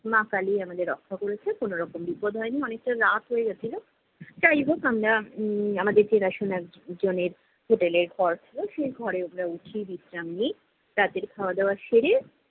মা কালী আমাদের রক্ষা করেছে, কোনো রকম বিপদ হয়নি। অনেকটা রাত হয়ে গেছিল। যাই হোক আমরা উম আমাদের চেনাশোনা জ~ জনের hotel এ ঘর ছিলো। সেই ঘরে আমরা উঠি, বিশ্রাম নিই। রাতের খাওয়া দাওয়া সেরে,